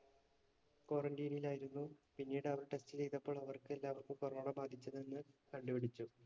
quarantine ൽ ആയിരുന്നു. പിന്നീട് അവർ test ചെയ്തപ്പോൾ അവർക്ക് എല്ലാവർക്കും corona ബാധിച്ചതെന്ന് കണ്ടുപിടിച്ചു.